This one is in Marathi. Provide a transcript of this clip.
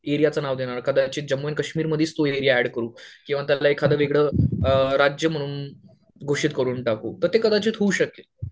एरियाचं नाव देणार कदाचित जम्मू आणि कश्मीर मधेच तो एरिया ऍड अरु किंवा त्याला एखादं वेगळं राज्य म्हणून घोषित करून टाकू तर ते कदाचित होऊ शकेल